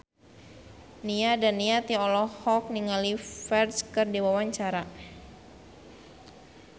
Nia Daniati olohok ningali Ferdge keur diwawancara